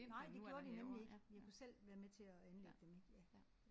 Nej det gjorde de nemlig ikke. Vi kunne selv være med til at anlægge dem ik ja